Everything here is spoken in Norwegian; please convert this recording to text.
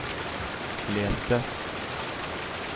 les det